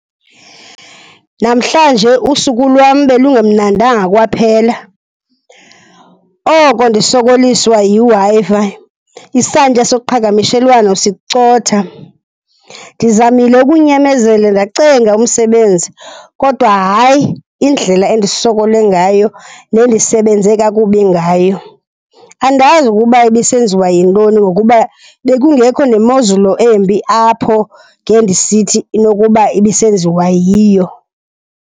Namhlanje usuku lwam belungemnandanga kwaphela. Oko ndisokoliswa yiWi-Fi, isantya soqhagamshelwano sicotha. Ndizamile ukunyamezela ndacenga umsebenzi kodwa hayi, indlela endisokole ngayo nendisebenze kakubi ngayo. Andazi ukuba ibisenziwa yintoni ngokuba bekungekho nemozulu embi apho ngendisithi inokuba ibisenziwa yiyo.